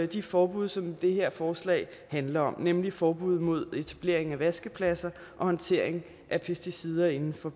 de forbud som det her forslag handler om nemlig forbud mod etablering af vaskepladser og håndtering af pesticider inden for